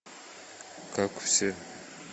как все